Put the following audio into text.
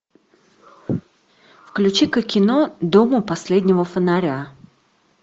включи ка кино дом у последнего фонаря